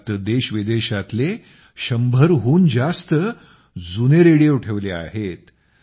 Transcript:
यात देशविदेशातले १०० हून जास्त जुने रेडिओ ठेवले आहेत